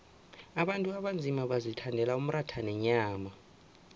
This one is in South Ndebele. abantu abanzima bazithandela umratha nenyama